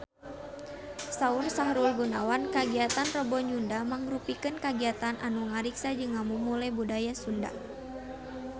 Saur Sahrul Gunawan kagiatan Rebo Nyunda mangrupikeun kagiatan anu ngariksa jeung ngamumule budaya Sunda